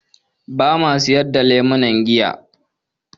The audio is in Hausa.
Ba ma sayar da lemuna giya.